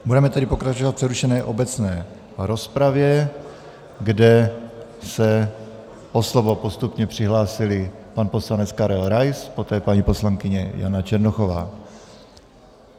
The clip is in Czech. Budeme tedy pokračovat v přerušené obecné rozpravě, kde se o slovo postupně přihlásili pan poslanec Karel Rais, poté paní poslankyně Jana Černochová.